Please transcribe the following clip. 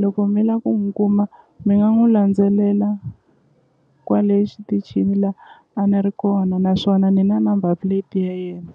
loko mi la ku n'wi kuma mi nga n'wi landzelela kwale xitichini la a ni ri kona naswona ni na number plate ya yena.